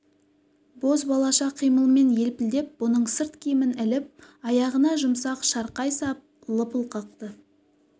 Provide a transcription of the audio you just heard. боз балаша қимылмен елпілдеп бұның сырт киімін іліп аяғына жұмсақ шарқай сап лыпыл қақты